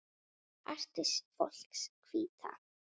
Artist fólks Hvíta.